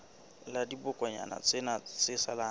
la dibokonyana tsena tse salang